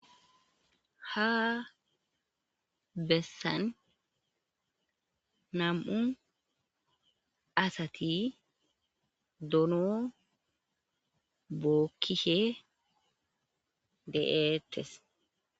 ha bessan nam7u asati dono bookkishe de7eetes